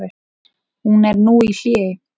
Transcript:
Hún er nú í hléi.